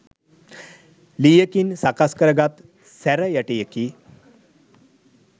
ලීයකින් සකස් කරගත් සැරයටියකි.